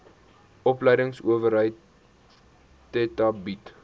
opleidingsowerheid theta bied